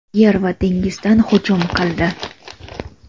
yer va dengizdan hujum qildi.